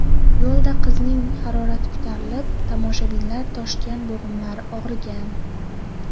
Yo‘lda qizning harorati ko‘tarilib, toshmalar toshgan, bo‘g‘imlari og‘rigan.